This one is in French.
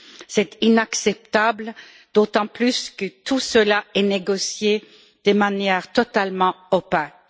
C'est inacceptable, d'autant plus que tout cela est négocié de manière totalement opaque.